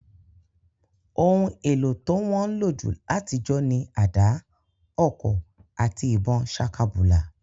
Oun èlo to won nlo jù látijọ́ ni ada, ọ̀kọ̀ àti ìbon sakabùlà